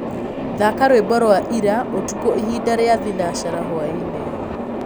thaka rwĩmbo rwa ĩra ũtũkũ ĩhĩnda rĩa thĩnacara hwaĩnĩ